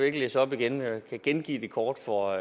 ikke læse op igen jeg kan gengive det kort for